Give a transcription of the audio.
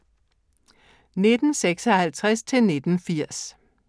1956-1980